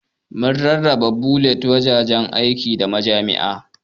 Mun rarraba bulletin a wuraren aiki, da majami'a.